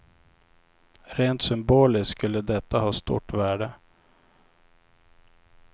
Rent symboliskt skulle detta ha stort värde.